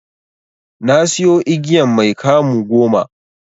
Nasiyo igiyan mai 'kamu' goma.